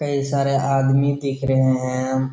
कई सारे आदमी दिख रहें हैं।